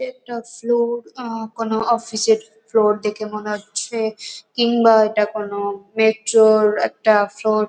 এটা ফ্লোর আ কোন অফিস -এর ফ্লোর দেখে মনে হচ্ছে কিংবা এটা কোন মেট্রো -র একটা ফ্লোর ।